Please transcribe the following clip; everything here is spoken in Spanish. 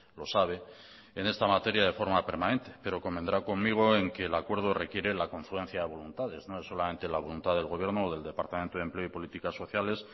lo sabe en esta materia de forma permanente pero convendrá conmigo en que el acuerdo requiere la confluencia de voluntades no es solamente la voluntad del gobierno o del departamento de empleo políticas sociales